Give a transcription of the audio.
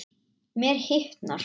Mér hitnar.